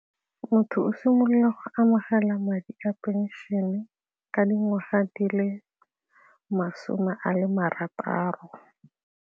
Motho o simolola go amogela madi a pension-e ka dingwaga di le masome a le marataro.